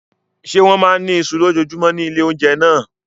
Ṣé wọ́n máa ń ní iṣu lójoojúmọ́ ní ilé-oúnjẹ náà?